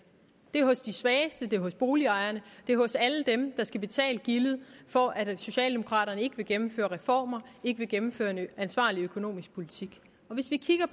det er hos de svageste det er hos boligejerne det er hos alle dem der skal betale gildet for at socialdemokraterne ikke vil gennemføre reformer ikke vil gennemføre en ansvarlig økonomisk politik